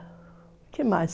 O que mais?